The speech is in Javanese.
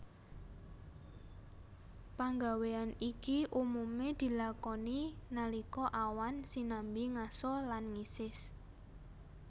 Panggawéyan iki umumé dilakoni nalika awan sinambi ngaso lan ngisis